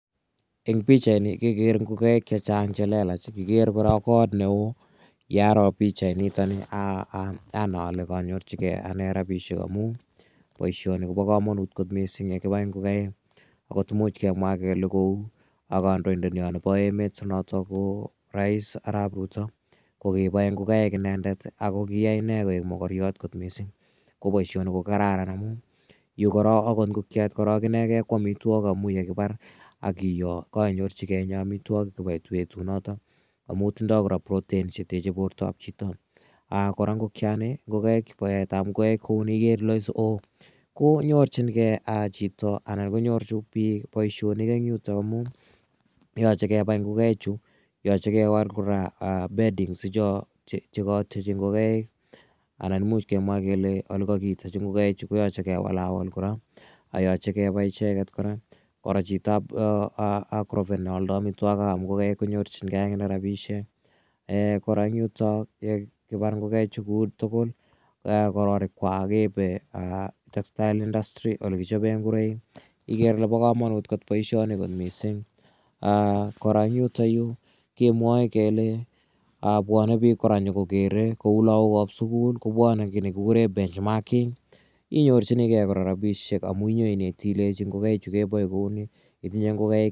Eng' pichani kekere ngokaik che chang' che lelach. Kikere kot ne oo. Ye aro pichaini anai ale kaanyorchigei ane rapishek amun poishoni ko pa kamanut kot missing' ye kipai ngokaik. Agot imuch kemwa kele kou kandoindetnyo nepo emet rais Arap Ruto ko kipae ngokaik inendet ako kihai ine koek makaryat kot missing'. Ko poishoni ko kararan amu yu korok akot ngokiet inegei ko amitwogik amu ye kipar ak kiyoo ko kainyorchigei inye amitwogik chpo petunotok amu tindai kora proteins che teche portaap chito. Kora ngokiani ,paetap ngokaik kou ni ikere ile oo konyorchigei chito anan konyor pik poishonik en yutok amun yache kepai ngokaichu, yache kewal kora beddings icho tiechatiechi ngokaik anan imuch kemwa kele ole kakiitechi ngokaichu koyache ke walawal kora. Yache kepai icheget kora. Kora chito ap agrovet ne aldai amitwogik ap ngokaik konyorchingei akine rapishek. Kora en yutok ye kipar ngokaichu kou tugul i, ko kororikkwak keipe kopa textile industry ole kichope ngoroik igere ile pa kamanut poishoni kot missing'. Kora eng' yutayu kemwae kele pwane piik kora nyu kokere kou lagok ap sukul kopwane ki ne kikure benchmarking inyorchinigei kora rapishek amu nye ineti ilechi ngokaichu kepae kou ni.